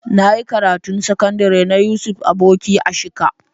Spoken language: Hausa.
Na yi karatun sakandire na Yusuf Aboki a Shika.